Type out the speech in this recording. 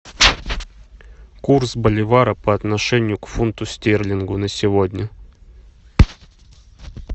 курс боливара по отношению к фунту стерлингов на сегодня